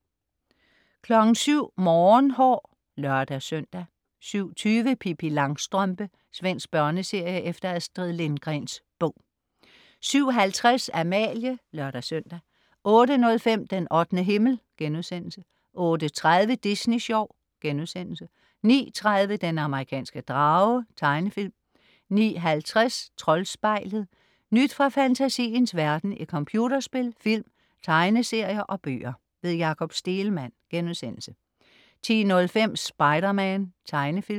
07.00 Morgenhår (lør-søn) 07.20 Pippi Langstrømpe. Svensk børneserie efter Astrid Lindgrens bog 07.50 Amalie (lør-søn) 08.05 Den 8. himmel* 08.30 Disney Sjov* 09.30 Den amerikanske drage. Tegnefilm 09.50 Troldspejlet. Nyt fra fantasiens verden i computerspil, film, tegneserier og bøger. Jakob Stegelmann* 10.05 Spider-Man. Tegnefilm